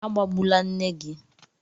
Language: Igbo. Agbabula nne gị!